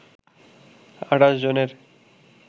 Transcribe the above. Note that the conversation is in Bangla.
২৮ জনের